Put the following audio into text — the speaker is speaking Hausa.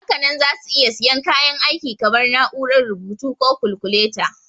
Hakanan za su iya siyan kayan aiki kamar na'urar rubutu ko kalkuleta.